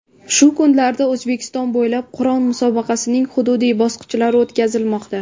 Shu kunlarda O‘zbekiston bo‘ylab Qur’on musobaqasining hududiy bosqichlari o‘tkazilmoqda.